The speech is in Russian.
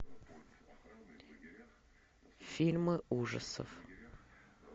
фильмы ужасов